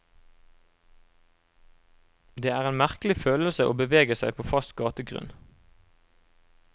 Det er en merkelig følelse å bevege seg på fast gategrunn.